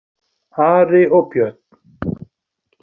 Ari og Björn!